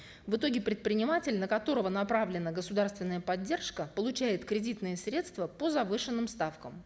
в итоге предприниматель на которого направлена государственная поддержка получает кредитные средства по завышенным ставкам